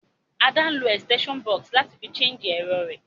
Ada n lo extension box náà láti fi charge èrọ rẹ́